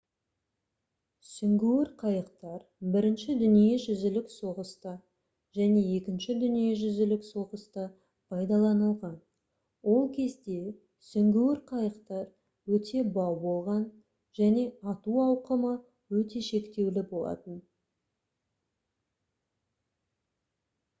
сүңгуір қайықтар бірінші дүниежүзілік соғыста және екінші дүниежүзілік соғыста пайдаланылған ол кезде сүңгуір қайықтар өте бау болған және ату ауқымы өте шектеулі болатын